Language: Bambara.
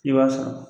I b'a sɔrɔ